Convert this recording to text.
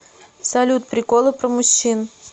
салют приколы про мужчин